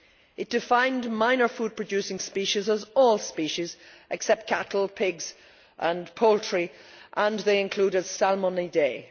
It defined minor food producing species as all species except cattle, pigs and poultry, and they included salmonidae.